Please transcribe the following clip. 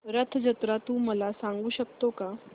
रथ जत्रा तू मला सांगू शकतो का